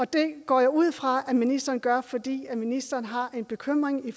det går jeg ud fra at ministeren gør fordi ministeren har en bekymring